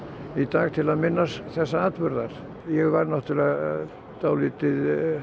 í dag til að minnast þessa atburðar ég var náttúrlega dálítið